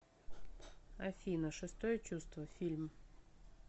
афина шестое чувство фильм